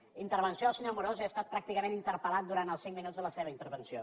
en la intervenció del se·nyor amorós he estat pràcticament interpel·lat durant els cinc minuts de la seva intervenció